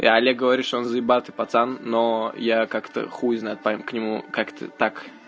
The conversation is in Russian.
и олег говорит что он заебатый пацан но я как-то хуй знает поэтому к нему как-то так